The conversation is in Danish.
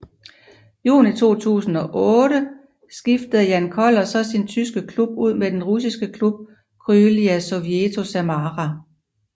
Juni 2008 skiftede Jan Koller så sin tyske klub ud med den russiske klub Krylya Sovetov Samara